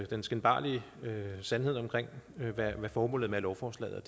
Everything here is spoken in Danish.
den skinbarlige sandhed om hvad formålet med lovforslaget